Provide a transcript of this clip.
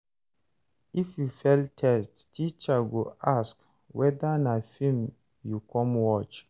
If you fail test, teacher go ask whether na film you come watch.